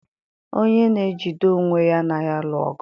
onye na-ejide onwe ya anaghị alụ ọgụ.